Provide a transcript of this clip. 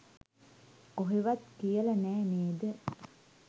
කොහෙවත් කියල නෑ නේද?